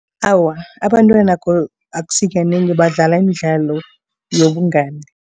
Awa, abantwana akusikanengi badlala imidlalo yobungani.